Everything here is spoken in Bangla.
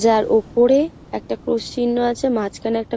যার ওপরে একটা ক্রস চিন্হ আছে। মাঝখানে একটা--